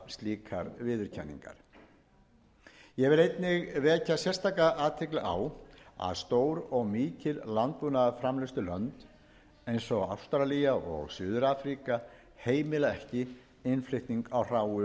slíkar viðurkenningar ég vil einnig vekja sérstak athygli á að stór og mikil landbúnaðarframleiðslulönd eins og ástralía og suður afríka heimila ekki innflutning á hráu ófrystu